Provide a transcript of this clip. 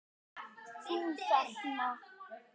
Þú þarna.